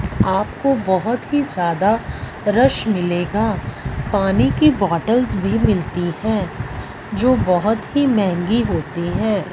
आपको बहुत ही ज्यादा रश मिलेगा पानी की बॉटल भी मिलती हैं जो बहोत ही महंगी होती है।